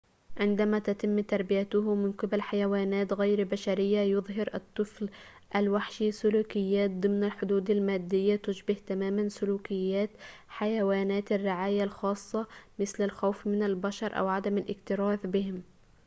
عندما تتم تربيته من قبل حيوانات غير بشرية، يظهر الطفل الوحشي سلوكيات ضمن الحدود المادية تشبه تماماً سلوكيات حيوان الرعاية الخاصة، مثل الخوف من البشر أو عدم الاكتراث بهم